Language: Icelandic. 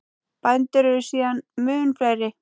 Bændur eru síðan mun fleiri.